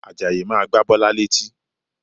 Àjàyí máa gba Bọ́lá létí